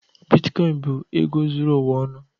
Bitkoịn bụ ego zuru ụwa ọnụ.